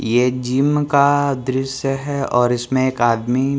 ये जिम का दृश्य है और इसमें एक आदमी--